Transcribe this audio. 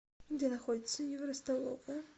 где находится евростоловая